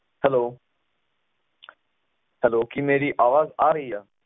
hello hello ਕਿ ਮੇਰੀ ਅਵਾਜ ~ਅਵਾਜ ਨਹੀਂ ਆ ਰਹੀ ਏ